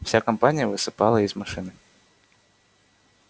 вся компания высыпала из машины